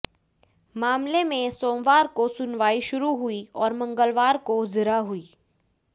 मामले में सोमवार को सुनवाई शुरू हुई और मंगलवार को जिरह हुई